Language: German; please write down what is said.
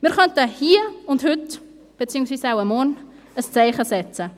Wir könnten hier und heute, beziehungsweise wahrscheinlich morgen, ein Zeichen setzen.